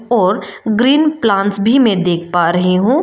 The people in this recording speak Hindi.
और ग्रीन प्लांट्स भी मैं देख पा रही हूं।